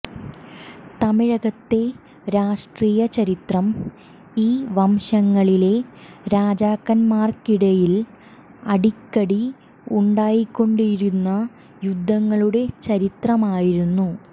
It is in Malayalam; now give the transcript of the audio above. തമിഴകത്തെ രാഷ്ട്രീയചരിത്രം ഈ വംശങ്ങളിലെ രാജാക്കന്മാർക്കിടയിൽ അടിക്കടി ഉണ്ടായിക്കൊണ്ടിരുന്ന യുദ്ധങ്ങളുടെ ചരിത്രമായിരുന്നു